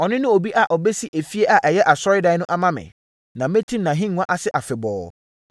Ɔno ne obi a ɔbɛsi efie a ɛyɛ asɔredan no ama me. Na mɛtim nʼahennwa ase afebɔɔ.